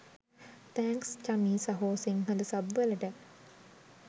thanks Chami සහො Sinhala sub වලට